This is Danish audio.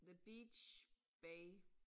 The beach bay